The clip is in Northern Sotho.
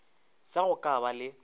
sa go ka ba le